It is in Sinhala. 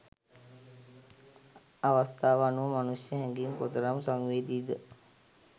අවස්තාව අනුව මනුෂ්‍ය හැඟීම් කොතරම් සංවේදීද